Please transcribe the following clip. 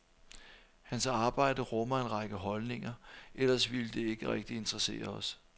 Hans arbejde rummer en række holdninger, ellers ville det ikke rigtig interessere os.